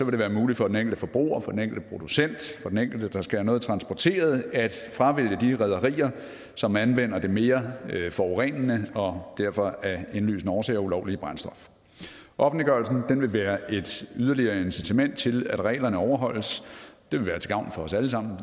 det være muligt for den enkelte forbruger og for den enkelte producent og for den enkelte der skal have noget transporteret at fravælge de rederier som anvender det mere forurenende og derfor af indlysende årsager ulovlige brændstof offentliggørelsen vil være et yderligere incitament til at reglerne overholdes det vil være til gavn for os alle sammen